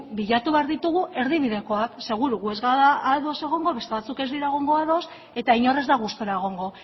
bilatu behar ditugu erdibidekoak seguru gu ez gara ados egongo beste batzuk ez dira ados egongo eta inor ez da gustura egongo